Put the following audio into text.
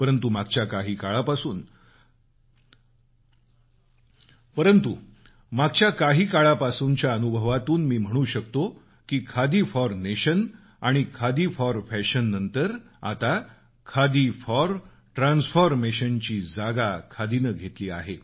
परंतु मागच्या काही काळापासूनच्या अनुभवातून मी म्हणू शकतो की खादी फॉर नेशन आणि खादी फॉर फॅशन नंतर आता खादी फॉर ट्रान्सफर्मेशन ची जागा खादीनं घेतली आहे